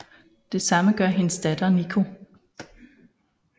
Det samme gør hendes datter Nico